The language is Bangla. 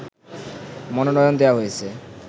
মনোনয়ন দেয়া হয়েছে